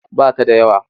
Ba ta da yawa.